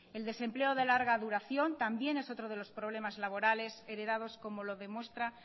el desempleo de larga duración también es otro de los problemas laborales heredados como lo demuestra